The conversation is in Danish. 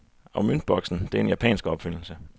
Og møntboksen, det er en japansk opfindelse.